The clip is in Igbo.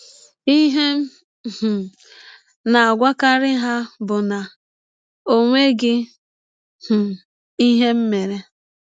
Ihe m um na - agwakarị ha bụ na ọ nweghị um ihe m mere.